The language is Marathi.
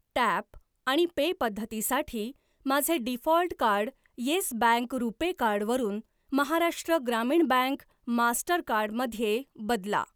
टॅप आणि पे पद्धतीसाठी माझे default card Yes Bank RuPay card वरून महाराष्ट्र ग्रामीण बँक मास्टरकार्ड मध्ये बदला.